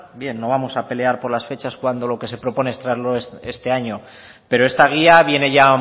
bien no vamos a pelear por las fechas cuando lo que se propone es traerlo este año pero esta guía viene ya